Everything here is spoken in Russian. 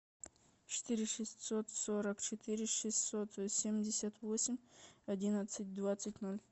четыре шестьсот сорок четыре шестьсот семьдесят восемь одиннадцать двадцать ноль